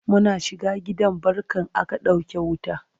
Muna shiga gidan barkan aka ɗauke wuta